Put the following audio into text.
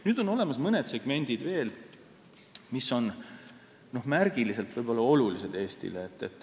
Nüüd on olemas mõned segmendid veel, mis on märgiliselt võib-olla olulised Eestile.